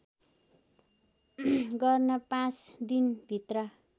गर्न पाँच दिनभित्र